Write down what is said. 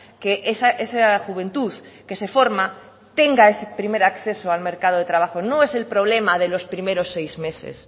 que esa juventud que se forma tenga ese primer acceso al mercado de trabajo no es el problema de los primeros seis meses